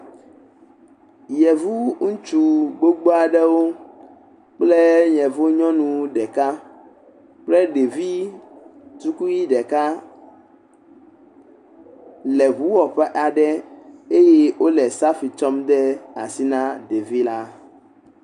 Yevu ŋutsu gbogbo aɖewo kple yevu nyɔnu ɖeka kple ɖevi tukui ɖeka le ŋu wɔƒe aɖe eye wole safi tsɔm de asi na ɖevi la.